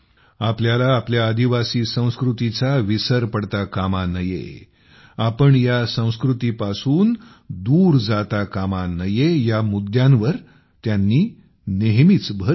आपल्याला आपल्या आदिवासी संस्कृतीचा विसर पडता कामा नये आपण या संस्कृतीपासून दूर जाता कामा नये या मुद्द्यांवर त्यांनी नेहमीच भर दिला